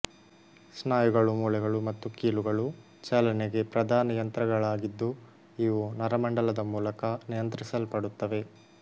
ಸ್ನಾಯುಗಳು ಮೂಳೆಗಳು ಮತ್ತು ಕೀಲುಗಳು ಚಲನೆಗೆ ಪ್ರಧಾನ ಯಂತ್ರಗಳಾಗಿದ್ದುಇವು ನರಮಂಡಲದ ಮೂಲಕ ನಿಯಂತ್ರಿಸಲ್ಪಡುತ್ತವೆ